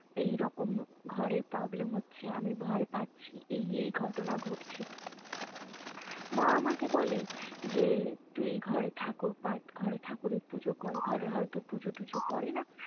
এই রকম ঘরে problem হচ্ছে আমি ভয় পাচ্ছি এই এই ঘটনা ঘটছে মা আমাকে বলে যে তুই এই ঘরে ঠাকুর পাঠ ঘরে ঠাকুরের পুজো করে ঘরে হয়তো পুজোটুজো করেনা